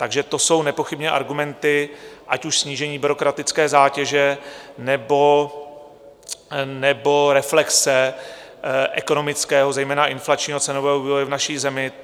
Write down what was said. Takže to jsou nepochybně argumenty, ať už snížení byrokratické zátěže, nebo reflexe ekonomického, zejména inflačního cenového vývoje v naší zemi.